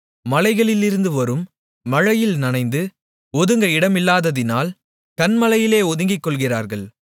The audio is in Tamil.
மலைகளிலிருந்துவரும் மழையில் நனைந்து ஒதுங்க இடமில்லாததினால் கன்மலையிலே ஒதுங்கிக்கொள்ளுகிறார்கள்